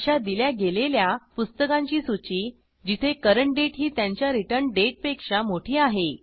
अशा दिल्या गेलेल्या पुस्तकांची सूची जिथे करंट डेट ही त्यांच्या रिटर्न डेटपेक्षा मोठी आहे